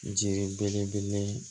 Jiri belebele